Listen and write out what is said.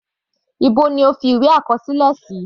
Níbo ni o fi ìwé àkọsílẹ sí?